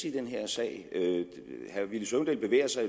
i den her sag herre villy søvndal bevæger sig